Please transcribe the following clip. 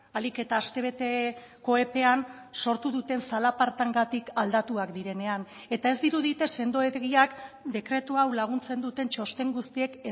ahalik eta astebeteko epean sortu duten zalapartengatik aldatuak direnean eta ez dirudite sendoegiak dekretu hau laguntzen duten txosten guztiek